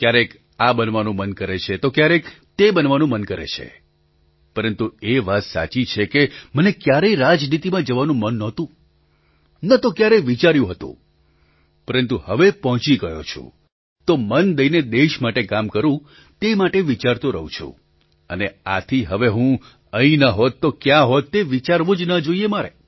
ક્યારેક આ બનવાનું મન કરે છે તો ક્યારેક તે બનવાનું મન કરે છે પરંતુ એ વાત સાચી છે કે મને ક્યારેય રાજનીતિમાં જવાનું મન નહોતું ન તો ક્યારેય વિચાર્યું હતું પરંતુ હવે પહોંચી ગયો છું તો મન દઈને દેશ માટે કામ કરું તે માટે વિચારતો રહું છું અને આથી હવે હું અહીં ન હોત તો ક્યાં હોત તે વિચારવું જ ન જોઈએ મારે